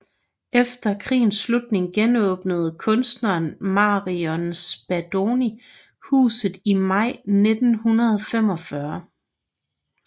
Efter krigens slutning genåbnede kunstneren Marion Spadoni huset i maj 1945